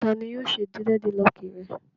Ta ni yóò ṣe dírẹ́dilọọkì rẹ?